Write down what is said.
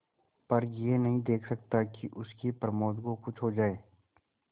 पर यह नहीं देख सकता कि उसके प्रमोद को कुछ हो जाए